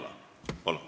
Palun!